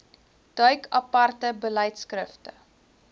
duik aparte beleidskrifte